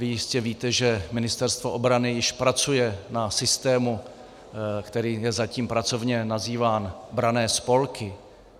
Vy jistě víte, že Ministerstvo obrany již pracuje na systému, který je zatím pracovně nazýván branné spolky.